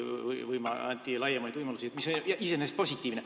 Anti laiemaid võimalusi, mis on iseenesest positiivne.